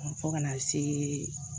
Fo kana see